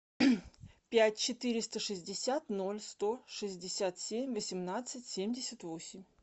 пять четыреста шестьдесят ноль сто шестьдесят семь восемнадцать семьдесят восемь